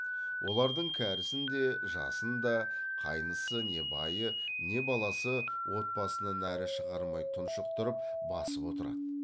олардың кәрісін де жасын да қайнысы не байы не баласы от басынан әрі шығармай тұншықтырып басып отырады